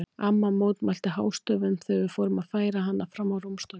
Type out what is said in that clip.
Amma mótmælti hástöfum þegar þau fóru að færa hana fram á rúmstokkinn.